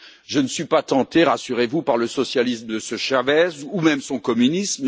Je ne suis pas tenté, rassurez vous, par le socialisme de M. Chavez ou même son communisme.